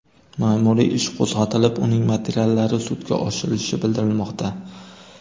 Ma’muriy ish qo‘zg‘atilib, uning materiallari sudga oshirilishi bildirilmoqda.